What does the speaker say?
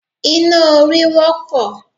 Iná orí wọ́pọ̀